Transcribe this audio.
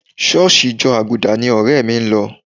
ṣọ́ọ̀ṣì ìjọ Àgùdà ni ọ̀rẹ́ mi ń lọ